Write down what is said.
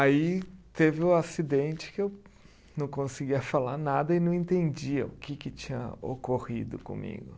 Aí teve o acidente que eu não conseguia falar nada e não entendia o que que tinha ocorrido comigo.